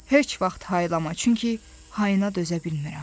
Heç vaxt haylama, çünki hayına dözə bilmirəm.